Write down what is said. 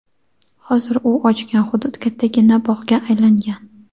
Hozir u ochgan hudud kattagina bog‘ga aylangan.